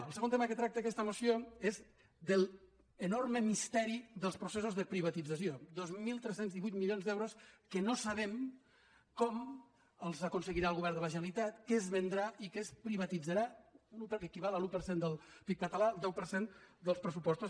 el segon tema que tracta aquesta moció és de l’enorme misteri dels processos de privatització dos mil tres cents i divuit milions d’euros que no sabem com els aconseguirà el govern de la generalitat què es vendrà i què es privatitzarà perquè equival a l’un per cent del pib català el deu per cent dels pressupostos